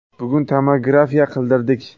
Bugun tomografiya qildirdik.